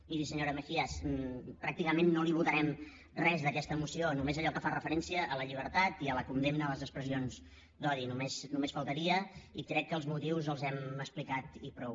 miri senyora mejías pràcticament no li votarem res d’aquesta moció només allò que fa referència a la llibertat i a la condemna a les expressions d’odi només faltaria i crec que els motius els hem explicat i prou